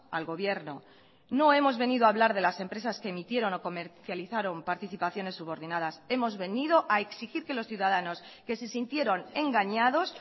al gobierno no hemos venido a hablar de las empresas que emitieron o comercializaron participaciones subordinadas hemos venido a exigir que los ciudadanos que se sintieron engañados